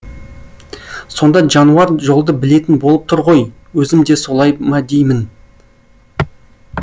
сонда жануар жолды білетін болып тұр ғой өзім де солай ма деймін